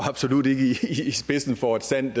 i spidsen for et sandt